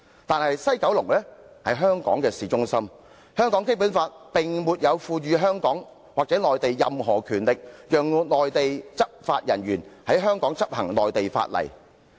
但是，西九龍在香港的市中心，香港的《基本法》並沒有賦予香港或內地任何權力，讓內地執法人員在香港的領土範圍執行內地法例。